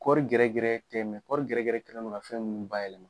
Kɔɔri gɛrɛ gɛrɛ tɛ kɔɔri gɛrɛ gɛrɛ kɛlen do ka fɛn ninnu bayɛlɛma.